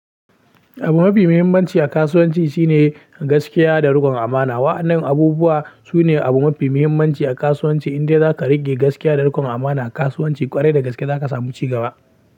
Abu mafi muhimmanci a kasuwanci shine gaskiya da riƙon amana. Wa'annan abubuwa su ne abu mafi muhimmanci a kasuwanci, inda za ka riƙe gaskiya da riƙon amana a kasuwanci ƙwarai da gaske za ka samu ci gaba.